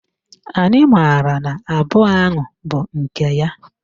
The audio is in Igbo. Anyị maara na abụọ ahụ bụ nke ya